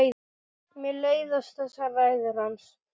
Mér leiðast þessar ræður hans.